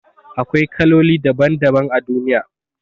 Akwai kaloli daban daban a duniya